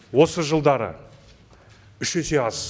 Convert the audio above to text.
осы жылдары үш есе аз